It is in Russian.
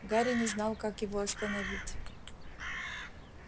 гарри не знал как его остановить